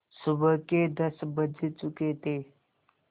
सुबह के दस बज चुके थे